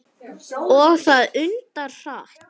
Og það undra hratt.